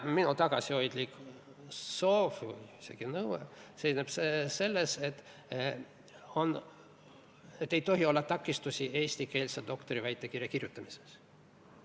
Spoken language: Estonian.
Minu tagasihoidlik soov või isegi nõue on see, et ei tohi olla takistusi eestikeelse doktoriväitekirja kirjutamiseks.